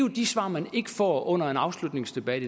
af de svar man ikke får under en afslutningsdebat